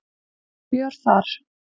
Fjör þar.